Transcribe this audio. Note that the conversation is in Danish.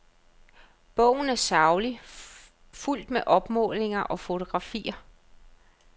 Bogen er saglig, fuldt med opmålinger og fotografier.